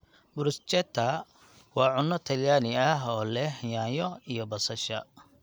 Bruschetta waa cunno talyaani ah oo leh yaanyo iyo basasha.